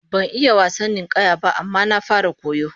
Ban iya wasan ninkaya ba, amma na fara koya